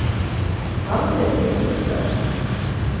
Malvin Hillestad